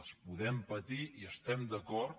les podem patir hi estem d’acord